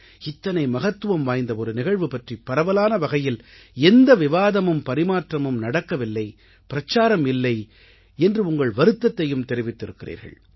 இத்தனை மகத்துவம் வாய்ந்த ஒரு நிகழ்வு பற்றிப் பரவலான வகையில் எந்த விவாதமும் பரிமாற்றமும் நடக்கவில்லை பிரச்சாரம் இல்லை என்று உங்கள் வருத்தத்தையும் தெரிவித்திருக்கிறீர்கள்